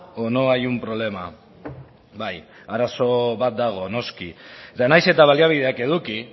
o no hay un problema bai arazo bat dago noski eta nahiz eta baliabideak eduki